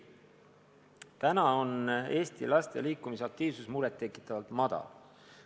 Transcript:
Praegu on Eesti laste liikumisaktiivsus muret tekitavalt väike.